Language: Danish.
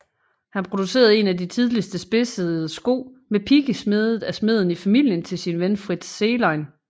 Han producerede en af de tidligste spidsede sko med pigge smedet af smeden i familien til sin ven Fritz Zehlein